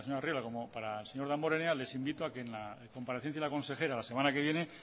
arriola como para el señor damborenea les invito a que en la comparecencia con la consejera la semana que viene